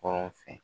Kɔrɔ fɛ